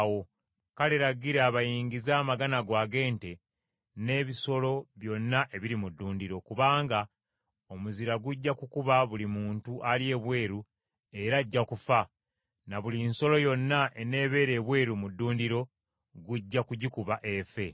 Kale, lagira bayingize amagana go ag’ente, n’ebisolo byonna ebiri mu ddundiro, kubanga omuzira gujja kukuba buli muntu ali ebweru era ajja kufa; ne buli nsolo yonna eneebeera ebweru mu ddundiro gujja kugikuba efe.’ ”